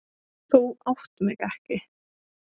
Þú átt mig ekki.